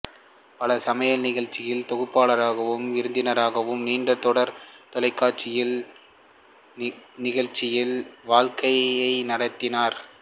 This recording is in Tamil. பல சமையல் நிகழ்ச்சிகளில் தொகுப்பாளராகவும் விருந்தினராகவும் நீண்டதொரு தொலைகாட்சி நிகழ்ச்சி வாழ்க்கையை நடத்தினார்